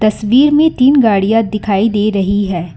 तस्वीर में तीन गाड़ियां दिखाई दे रही है।